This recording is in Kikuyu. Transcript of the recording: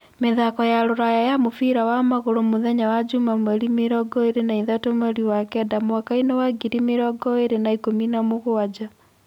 Mĩthako ya rũraya ya mũbira wa magũrũ mutheya wa njuma mweri mĩrongo ĩĩrĩ na ithatũ mweri wa kenda mwakaĩnĩ wa ngiri mĩrongo ĩĩrĩ na ikumi na mũgwanja